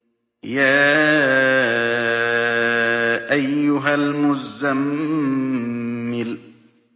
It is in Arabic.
يَا أَيُّهَا الْمُزَّمِّلُ